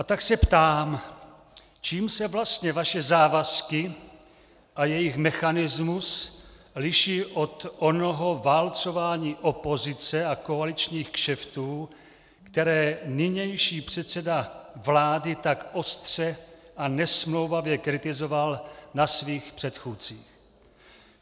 A tak se ptám: Čím se vlastně vaše závazky a jejich mechanismus liší od onoho válcování opozice a koaličních kšeftů, které nynější předseda vlády tak ostře a nesmlouvavě kritizoval na svých předchůdcích?